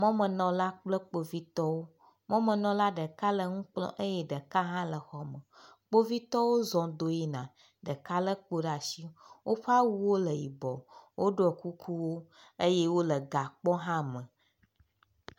Mɔmenɔla kple kpovitɔwo. Mɔmenɔla ɖeka le nu kplɔm eye ɖeka hã le xɔ me. Kpovitɔwo zɔ do yina eye ɖeka le kpo ɖe asi. Woƒe awuwo le yibɔ woɖɔ kukuwo eye wo le gakpɔ hã me.